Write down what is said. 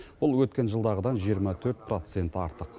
бұл өткен жылдағыдан жиырма төрт процент артық